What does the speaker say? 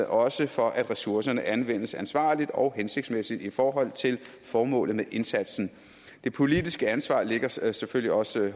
også for at ressourcerne anvendes ansvarligt og hensigtsmæssigt i forhold til formålet med indsatsen det politiske ansvar ligger selvfølgelig også